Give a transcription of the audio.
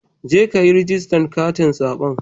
Jeka kayi rijistar katin zabe.